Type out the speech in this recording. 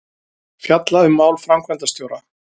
Fjalla um mál framkvæmdastjóra